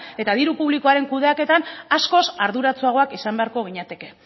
eta diru publikoaren kudeaketan askoz arduratsuagoak izan beharko ginateke